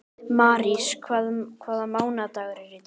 Marís, hvaða mánaðardagur er í dag?